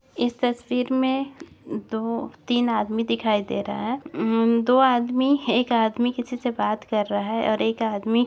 इस तस्वीर मे दो-तीन आदमी दिखाई दे रहा है उ-म्म- दो आदमी एक आदमी किसी से बात कर रहा है और एक आदमी--